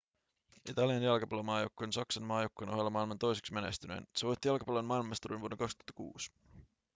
italian jalkapallomaajoukkue on saksan maajoukkueen ohella maailman toiseksi menestynein se voitti jalkapallon maailmanmestaruuden vuonna 2006